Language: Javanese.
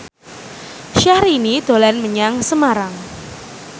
Syahrini dolan menyang Semarang